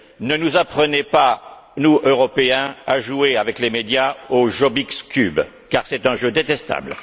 Ne nous apprenez pas à nous, Européens, à jouer avec les médias au Jobbik's Cube car c'est un jeu détestable.